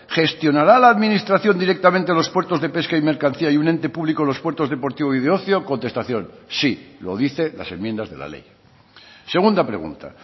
gestionará la administración directamente los puertos de pesca y mercancía y un ente público los puertos deportivo y de ocio contestación sí lo dice las enmiendas de la ley segunda pregunta